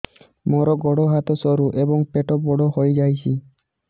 ମୋର ଗୋଡ ହାତ ସରୁ ଏବଂ ପେଟ ବଡ଼ ହୋଇଯାଇଛି